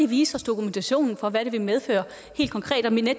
vise os dokumentationen for hvad det vil medføre og